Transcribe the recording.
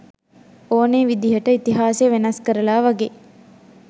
ඕනේ විදිහට ඉතිහාසය වෙනස් කරලා වගේ.